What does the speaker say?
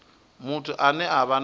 muthu ane a vha na